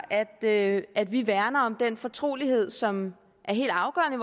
at at vi værner om den fortrolighed som er helt afgørende